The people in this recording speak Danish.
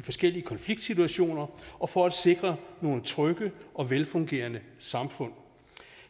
forskellige konfliktsituationer og for at sikre nogle trygge og velfungerende samfund